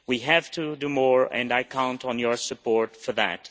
We have to do more and I count on your support for that.